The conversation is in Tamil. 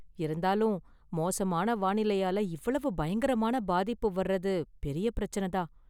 இருந்தாலும், மோசமான வானிலையால இவ்வளவு பயங்கரமான பாதிப்பு வர்றது பெரிய பிரச்சன தான்.